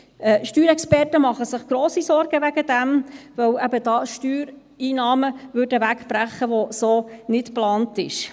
Steuerexperten machen sich grosse Sorgen deswegen, weil eben dort Steuereinnahmen wegbrechen würden, was so nicht geplant ist.